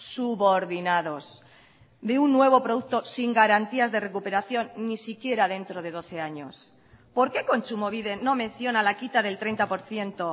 subordinados de un nuevo producto sin garantías de recuperación ni siquiera dentro de doce años por qué kontsumobide no menciona la quita del treinta por ciento